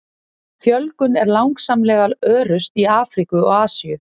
Fjölgun er langsamlega örust í Afríku og Asíu.